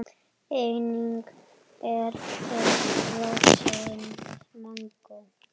Einnig er til frosið mangó.